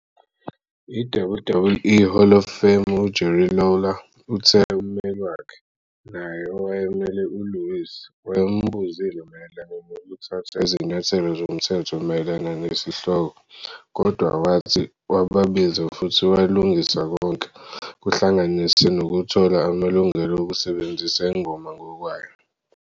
I-WWE Hall of Famer uJerry Lawler uthe ummeli wakhe, naye owayemele uLewis, wayembuzile mayelana nokuthatha izinyathelo zomthetho mayelana nesihloko, kodwa wathi "wababiza futhi walungisa konke," kuhlanganise nokuthola amalungelo okusebenzisa ingoma ngokwayo.